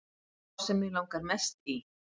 Sá sem mig langar mest í